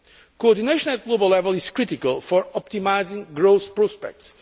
Coordination at global level is critical for optimising growth prospects.